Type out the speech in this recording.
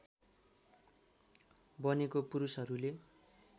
बनेको पुरूषहरूले